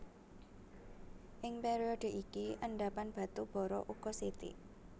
Ing période iki endhapan batu bara uga sithik